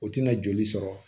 O tɛna joli sɔrɔ